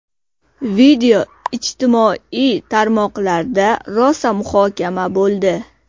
Video ijtimoiy tarmoqlarda rosa muhokama bo‘ldi.